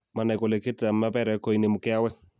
manai kole ketit ab maperek ko inemu keawek